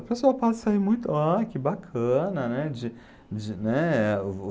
A pessoa pode sair muito, ah, que bacana, né? De de, né,